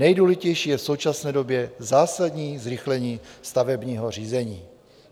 Nejdůležitější je v současné době zásadní zrychlení stavebního řízení."